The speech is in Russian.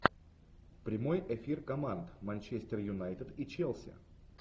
прямой эфир команд манчестер юнайтед и челси